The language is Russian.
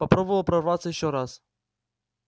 попробовал прорваться ещё раз